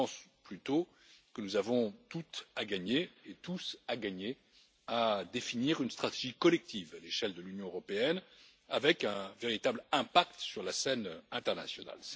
Je pense plutôt que nous avons tout à gagner et tous à gagner à définir une stratégie collective à l'échelle de l'Union européenne avec un véritable impact sur la scène internationale.